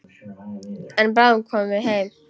En bráðum komum við heim.